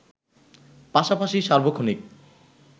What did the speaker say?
পাশাপাশি সার্বক্ষণিক